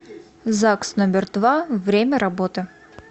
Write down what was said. загс номер два время работы